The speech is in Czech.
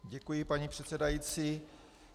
Děkuji, paní předsedající.